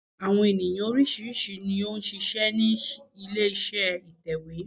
Àwọn ènìyàn oríṣìíríṣìí ni ó n ṣiṣẹ́ ní ilé iṣẹ́ ìtẹ̀wé